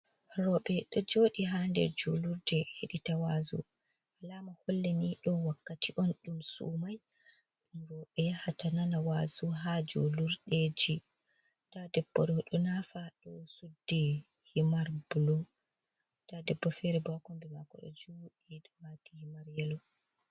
Roɓe do joɗi ha nder julurde heɗita wazu alama hollini ɗo wakkati on ɗum sumai roɓe yahata nana wazu ha julurɗeji, nda debbo ɗo, ɗo nafa ɗo suddi himar bulu nda debbo fere ɓo ha kombi mako ɗo joɗi ɗo wati himar yelo.